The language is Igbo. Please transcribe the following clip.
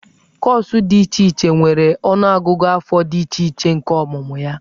Kọọsụ dị iche iche nwere ọnụọgụgụ afọ dị iche iche nke ọmụmụ ya.